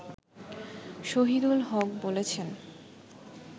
শহিদুল হক বলেছেন